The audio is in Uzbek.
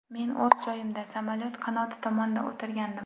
Men o‘z joyimda, samolyot qanoti tomonda o‘tirgandim.